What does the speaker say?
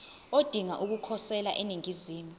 odinga ukukhosela eningizimu